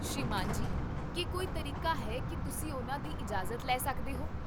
ਸ੍ਰੀਮਾਨ ਜੀ, ਕੀ ਕੋਈ ਤਰੀਕਾ ਹੈ ਕੀ ਤੁਸੀਂ ਉਨ੍ਹਾਂ ਦੀ ਇਜਾਜ਼ਤ ਲੈ ਸਕਦੇ ਹੋ?